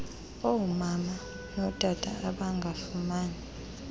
omama notata abangafumani